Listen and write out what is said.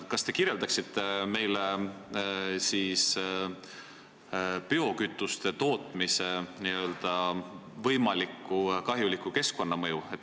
Kas te kirjeldaksite meile biokütuste tootmise võimalikku kahjulikku keskkonnamõju?